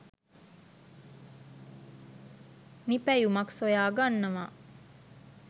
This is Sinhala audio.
නිපැයුමක් සොයාගන්නවා.